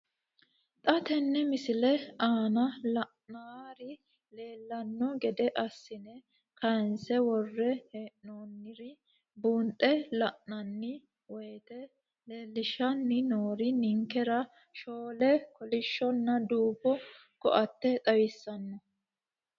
Xa tenne missile aana la'nara leellanno gede assine kayiinse worre hee'noonniri buunxe la'nanni woyiite leellishshanni noori ninkera shoole kolishshonna duumo koatte xawissanno.